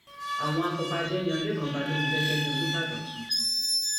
àwọn afọbàjẹ yan lẹkàn balógun gẹgẹ bíi olùbàdàn tuntun